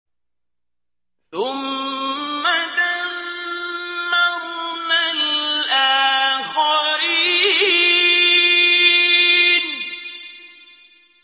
ثُمَّ دَمَّرْنَا الْآخَرِينَ